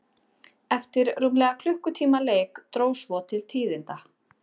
Eftir rúmlega klukkutíma leik dró svo til tíðinda.